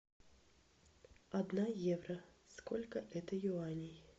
одна евро сколько это юаней